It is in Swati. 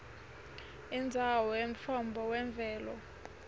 indzawo yemtfombo wemvelo